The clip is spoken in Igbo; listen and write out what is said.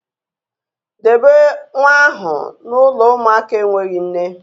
Debe nwa ahụ na ụlọ ụmụaka enweghị nne